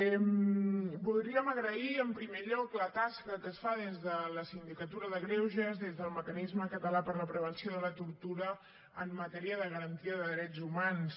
voldríem agrair en primer lloc la tasca que es fa des de la sindicatura de greuges des del mecanisme català per a la prevenció de la tortura en matèria de garantia de drets humans